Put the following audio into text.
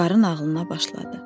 Qarı nağılına başladı.